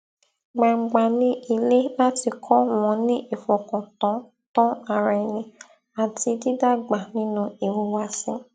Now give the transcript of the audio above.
gbangba ní ilé láti kọ wọn ní ìfọkàn tán tán ara ẹni àti dídàgbà ninú ìhùwàsí